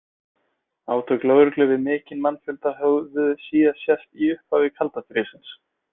Átök lögreglu við mikinn mannfjölda höfðu síðast sést í upphafi kalda stríðsins.